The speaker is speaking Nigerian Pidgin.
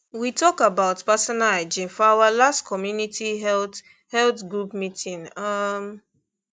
we talk about personal hygiene for our last community health health group meeting um